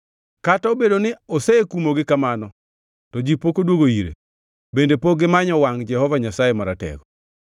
Kata obedo ni osekumogi kamano to ji pok odwogo ire bende pok gimanyo wangʼ Jehova Nyasaye Maratego.